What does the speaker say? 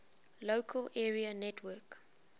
local area network